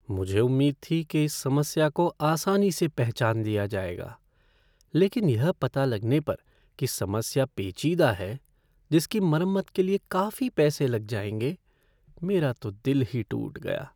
मुझे उम्मीद थी कि इस समस्या को आसानी से पहचान लिया जाएगा, लेकिन यह पता लगने पर कि समस्या पेचीदा है जिसकी मरम्मत के लिए काफी पैसे लग जाएंगे, मेरा तो दिल ही टूट गया।